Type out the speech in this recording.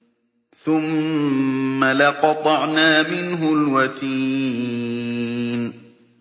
ثُمَّ لَقَطَعْنَا مِنْهُ الْوَتِينَ